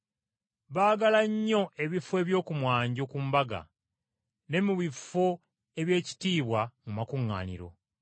Baagala nnyo ebifo eby’oku mwanjo ku mbaga, ne mu bifo eby’ekitiibwa mu makuŋŋaaniro.